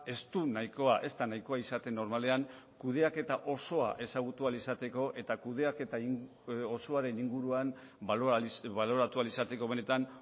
ez du nahikoa ez da nahikoa izaten normalean kudeaketa osoa ezagutu ahal izateko eta kudeaketa osoaren inguruan baloratu ahal izateko benetan